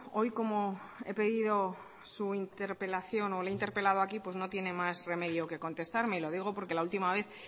hoy como he pedido su interpelación o le he interpelado aquí pues no tiene más remedio que contestarme lo digo porque la última vez